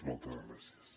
moltes gràcies